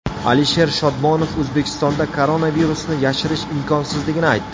Alisher Shodmonov O‘zbekistonda koronavirusni yashirish imkonsizligini aytdi.